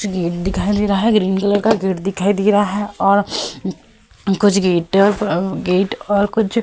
gate दिखाई दे रहा है ग्रीन कलर का गेट दिखाई दे रहा है और कुछ गेट गेट और कुछ --